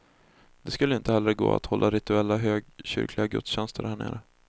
Det skulle inte heller gå att hålla rituella högkyrkliga gudstjänster härnere.